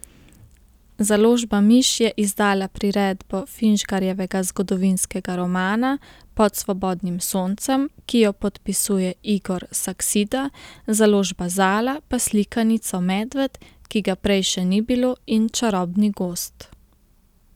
Založba Miš je izdala priredbo Finžgarjevega zgodovinskega romana Pod svobodnim soncem, ki jo podpisuje Igor Saksida, založba Zala pa slikanico Medved, ki ga prej še ni bilo, in čarobni gozd.